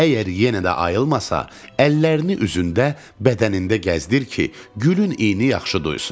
Əgər yenə də ayılmasa, əllərini üzündə, bədənində gəzdir ki, gülün iyi yaxşı duysun.